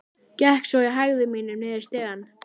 Gekk svo í hægðum mínum niður stigann.